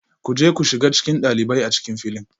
Ku je ku shiga cikin ɗalibai a cikin filin